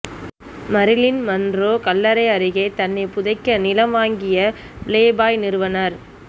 Marilyn Monroe கல்லறை அருகே தன்னை புதைக்க நிலம் வாங்கிய பிளேபாய் நிறுவனர்